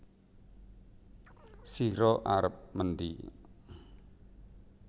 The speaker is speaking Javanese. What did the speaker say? Sira arep mendhi